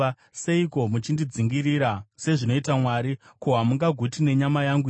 Seiko muchindidzingirira sezvinoita Mwari? Ko, hamungaguti nenyama yangu here?